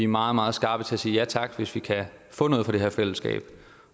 meget meget skarpe til at sige ja tak hvis vi kan få noget fra det her fællesskab